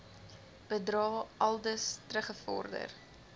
bedrae aldus teruggevorder